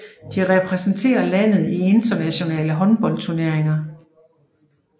De repræsenterer landet i internationale håndboldturneringer